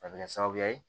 A bɛ kɛ sababuya ye